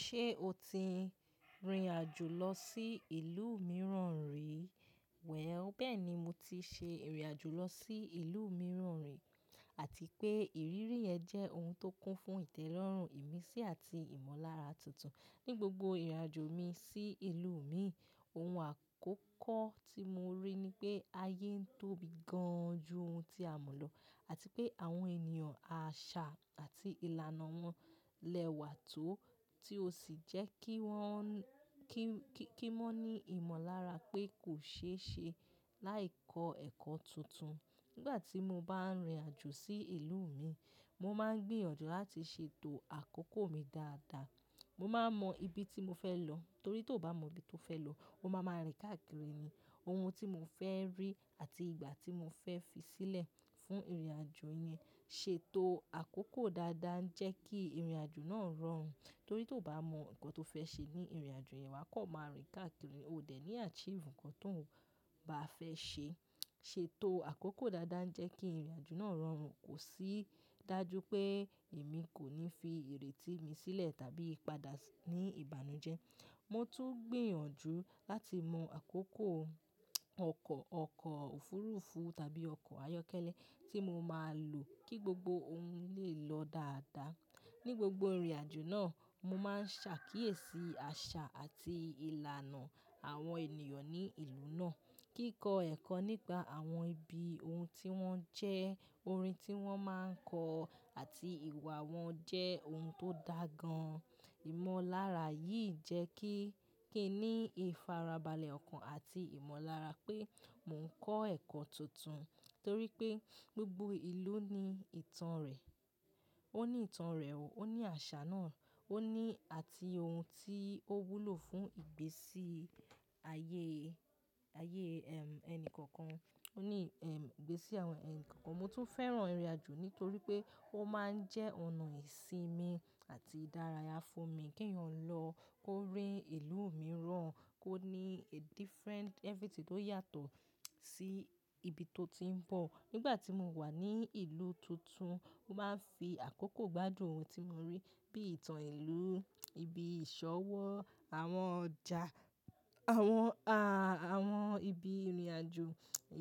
Ṣé o ti rìnrìn àjò lọ sí ìlú mìíràn rí? Wẹ̀ bẹ́ẹ̀ni, mo ti ṣe ìrìn àjò lọ sí ìlú mìíràn rí àti pé ìrírí ẹ jẹ́ ohun tó kún fún ìtẹ́lọ́rùn, ìmísí àti ìmọ̀lára tuntun. Ni gbogbo ìrìn àjò mi sí ìlú mi, ohun àkọ́kọ́ tí mo rí ni pé ayé ń tóbi gan ju ohun tí a mọ̀ lọ àti pé àwọn ènìyàn, àṣà àti ìlànà wọn lẹ́wà tó tí ó sì jẹ́ kí wọ́n, kí, kí, kí wọ́n ní ìmọ̀lára pé kò ṣe é ṣe láì kọ ẹ́kọ́ tuntun. Nígbà tí mo bá ń rìnrìn àjò sí ìlú mi, mo máa ń gbìyànjú láti ṣètò àkókò mi dáadáa. Mo máa ń mọ ibi tí mo fẹ́ lọ torí tó bà mọ ibi tó fẹ́ lọ, o máa máa rìn káàkiri ni. Ohun tí mo fẹ́ rí àti ìgbà tí mo fẹ́ fi sílẹ̀ fún ìrìn àjò yẹn ṣètò àkókò dáadáa ń jẹ́ kí ìrìn àjò náà rọrùn torí tó bà mọ nǹkan tó fẹ́ ṣe ní ìrìn àjò yẹn, wà kọ̀ máa rìn káàkiri, o dẹ̀ ní àchììrù nǹkan tó bá fẹ́ ṣe. Ṣètò àkókò dáadáa ń jẹ́ kí ìrìn àjò náà rọrùn, kò sì dájú pé èmi kò ní fi ìrètí mi sílẹ̀ tàbí padà ní ìbànújẹ́. Mo tún ń gbìyànjú láti mọ àkókò ọkọ̀, ọkọ̀ òfuurufú tàbí ọkọ̀ ayọ́kẹ́lẹ́ tí mo máa lò kí gbogbo ohun lè lọ dáadáa. Ni gbogbo ìrìn àjò náà, mo máa ń ṣàkíyèsí àṣà àti ìlànà àwọn ènìyàn ní ìlú náà. Kíkọ ẹ̀kọ́ nípa àwọn ibi ohun tí wọ́n jẹ́, orin tí wọ́n máa ń kọ àti ìwà wọn jẹ́ ohun tó dá gan-an. Ìmọ̀lára yìí jẹ́ kí, kí n ní ìfarabalẹ̀ ọkàn àti ìmọ̀lára pé mò ń kọ́ ẹ̀kọ́ tuntun torí pé gbogbo ìlú ní ìtàn rẹ̀. Ó ní ìtàn rẹ̀ o, ó ní àṣà náà, ó ní àti ohun tí ó wúlò fún ìgbésí ayé, ayé, ẹm, ẹni kọ̀ọ̀kan. Ó ní, ẹm, ìgbésí àwọn ẹni kọ̀ọ̀kan. Mo tún fẹ́ràn ìrìn àjò nítorí pé ó máa ń jẹ́ ọ̀nà ìsinmi àti ìdárayá fún mi kí èèyàn lọ kó rí ìlú mìíràn, kó ní a different everything tó yàtọ̀ sí ibi tó ti ń bọ̀. Nígbà tí mo wà ní ìlú tuntun, mo máa ń fi àkókò gbádùn ohun tí mo rí bíi ìtàn ìlú, ibi ìṣọ́wọ́, àwọn ọjà, àwọn a, àwọn ibi rìnrìn àjò.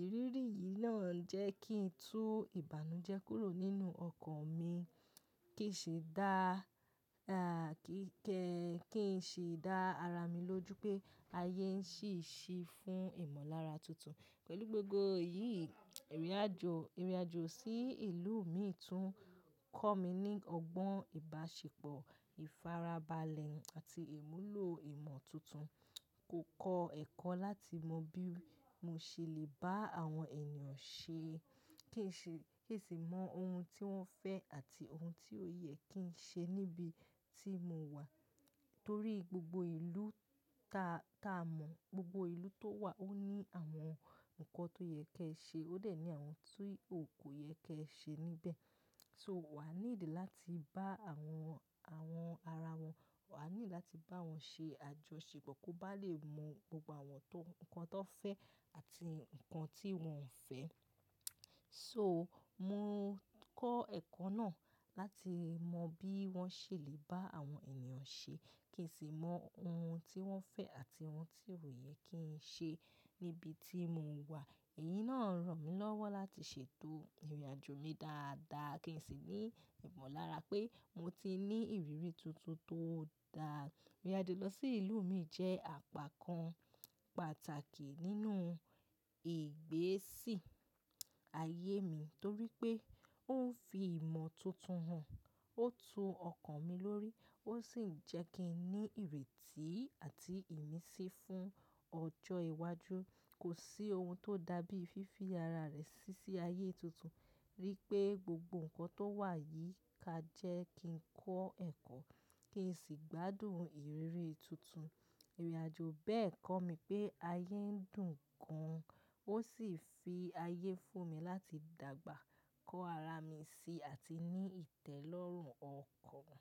Ìrírí yìí náà ń jẹ́ kí n tú ìbànújẹ́ kúrò nínú ọkàn mi, kí n ṣe dá, a kí kẹ, kí n ṣe dá ara mi lójú pé ayé ń ṣì ṣì fún ìmọ̀lára tuntun. Pẹ̀lú gbogbo èyí, ìrìn àjò, ìrìn àjò sí ìlú mi tún kọ́ mi ní ọgbọ́n ìbáṣepọ̀, ìfarabalẹ̀ àti ìmúlò ìmọ̀ tuntun. Kò kọ ẹ́kọ́ láti mọ bí mo ṣe lè bá àwọn ènìyàn ṣe, kí n ṣe, kí n ṣe mọ ohun tí wọ́n fẹ́ àti ohun tí ó yẹ kí n ṣe níbi tí mo wà torí gbogbo ìlú ta, ta mọ̀, gbogbo ìlú tó wà ó ní àwọn nǹkan tó yẹ kí ẹ ṣe, ó dẹ̀ ní àwọn tí o kò yẹ kí ẹ ṣe níbẹ̀. So wà á ní ìdí láti bá àwọn, àwọn ara wọn, wà á ní ìdí láti bá wọn ṣe àjọṣepọ̀ kó bá lè mọ gbogbo àwọn tó, nǹkan tó fẹ́ àti nǹkan tí wọn ò fẹ́. So mo kọ́ ẹ̀kọ́ náà láti mọ bí wọ́n ṣe lè bá àwọn ènìyàn ṣe, kí n sì mọ ohun tí wọ́n fẹ́ àti ohun tí ò yẹ kí n ṣe níbi tí mo wà. Èyí náà ràn mí lọ́wọ́ láti ṣètò ìrìn àjò mi dáadáa kí n sì ní ìmọ̀lára pé mo ti ní ìrírí tuntun tó dáa. Ìrìn àjò lọ sí ìlú mi jẹ́ àpá kan pàtàkì nínú ìgbésí ayé mi torí pé ó ń fi ìmọ̀ tuntun hàn, ó tú ọkàn mi lórí, ó sì ń jẹ́ kí n ní ìrètí àti ìmísí fún ọjọ́ iwájú. Kò sí ohun tó dàbí fífi ara rẹ sí i sí ayé tuntun rí pé gbogbo nǹkan tó wà yìí ka jẹ́ kí n kọ́ ẹ̀kọ́, kí n sì gbádùn ìrírí tuntun. Ìrìn àjò bẹ́ẹ̀ kọ́ mi pé ayé ń dùn gan-an ó sì fi ayé fún mi láti dàgbà kọ ara mi si àti ní ìtẹ́lọ́rùn ọkàn.